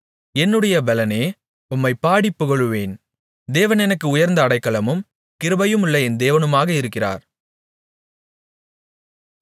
என்னுடைய பெலனே உம்மை பாடிப் புகழுவேன் தேவன் எனக்கு உயர்ந்த அடைக்கலமும் கிருபையுள்ள என் தேவனுமாக இருக்கிறார்